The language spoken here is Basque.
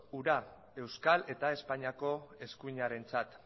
hura euskal eta espainiako eskuinarentzat